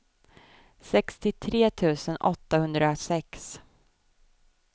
sextiotre tusen åttahundrasex